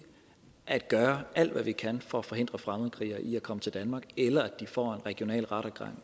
at gøre alt hvad vi kan for at forhindre fremmedkrigere i at komme til danmark eller at de får en regional rettergang